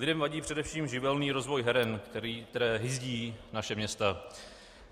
Lidem vadí především živelný rozvoj heren, které hyzdí naše města.